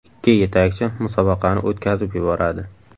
Ikki yetakchi musobaqani o‘tkazib yuboradi.